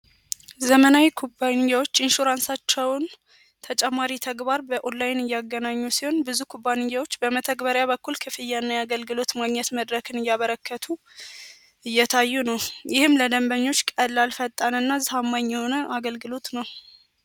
ዘመናዊ ኩባንያዎች ኢንሹራ ንሳቸውን ተጨማሪ ተግባር በኦላይን እያገናኙ ሲሆን ብዙ ኩባንያዎች በመተግበሪያ በኩል ክፍያና የገልግሎት ማግኘት መድረክን እያበረከቱ እየታዩ ነው። ይህም ለደንበኞች ቀላል ፈጣን እና ዝህማኝ የሆነ አገልግሉት ነው።